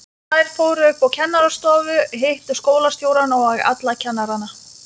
Þær fóru upp á kennarastofu, hittu skólastjórann og alla kennarana.